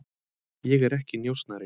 Ég er ekki njósnari.